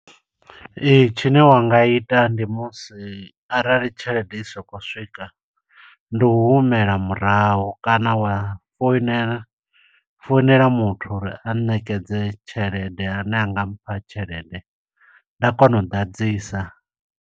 Ee, tshine wa nga ita ndi musi arali tshelede i sa khou swika, ndi u humela murahu kana wa foinela, founela muthu uri a ṋekedze tshelede, ane anga mpha tshelede nda kona u ḓadzisa.